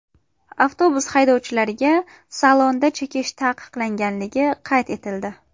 Avtobuslar haydovchilariga salonda chekish taqiqlanganligi qayd etildi.